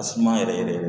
A suma yɛrɛ yɛrɛ